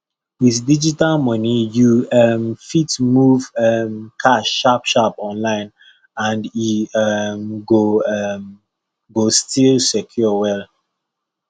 with digital money you um fit move um cash sharpsharp online and e um go um go still secure well